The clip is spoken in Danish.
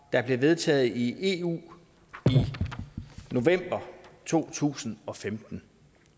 der blev vedtaget i eu i november to tusind og femten